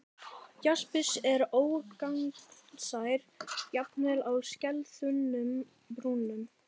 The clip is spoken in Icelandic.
Jaspis er ógagnsær, jafnvel á skelþunnum brúnum.